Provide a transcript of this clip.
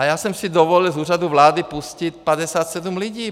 A já jsem si dovolil z Úřadu vlády pustit 57 lidí.